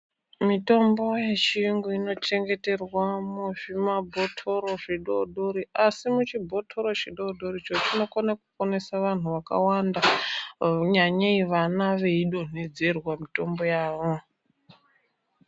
Mitombo yechiyungu inochengeterwa muzvimabhotoro zvidori dori, Asi muchibhotoro chidori doricho, chinokone kuponesa vanhu vakawanda nyanyei vana veidonhedzerwa mitombo yavo.